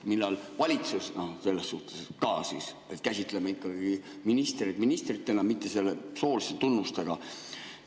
Millal valitsus selles suhtes ka siis käsitleb ministreid ministritena, mitte selle soolise tunnusega?